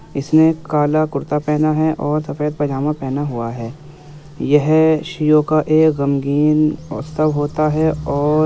इसने कला कुर्ता पहना है और सफ़ेद पाजामा पहना हुआ है। यह शियों का एक ग़मगीन उत्सव होता है और --